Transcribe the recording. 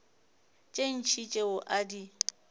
tše ntši tšeo a di